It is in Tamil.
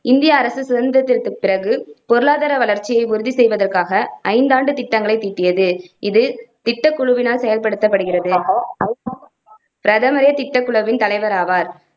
இந்திய அரசு சுதந்திரத்திற்குப் பிறகு பொருளாதார வளர்ச்சியை உறுதி செய்வதற்காக ஐந்தாண்டு திட்டங்களைத் தீட்டியது. இது திட்டக்குழுவினால் செயல்படுத்தப்படுகிறது பிரதமரே திட்டக்குழுவின் தலைவராவார்.